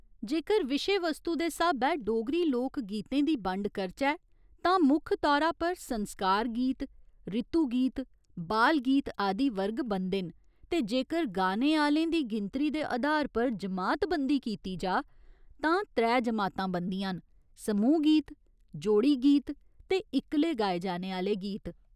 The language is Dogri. जेकर विशे वस्तु दे स्हाबै डोगरी लोक गीतें दी बंड करचै तां मुक्ख तौरा पर संस्कार गीत, रितु गीत, बाल गीत आदि वर्ग बनदे न ते जेकर गाने आह्‌लें दी गिनतरी दे अधार पर जमातबंदी कीती जाऽ तां त्रै जमातां बनदियां न समूह् गीत, जोड़ी गीत ते इक्कले गाए जाने आह्‌ले गीत।